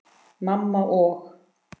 Mamma og